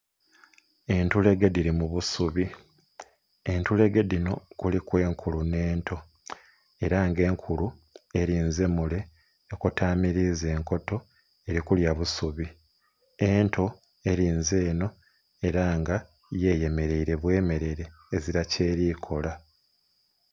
Entulege dhili mu busubi, entulege dhino kuliku enkulu nhe'nto era nga enkulu elinze mule ekotamiliza enkoto eli kulya busubi, ento elinze enho era nga yo eyemereire bwe merere ezila kyeli kukola.